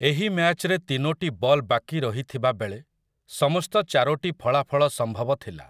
ଏହି ମ୍ୟାଚ୍‌ରେ ତିନୋଟି ବଲ୍‌ ବାକି ରହିଥିବା ବେଳେ ସମସ୍ତ ଚାରୋଟି ଫଳାଫଳ ସମ୍ଭବ ଥିଲା ।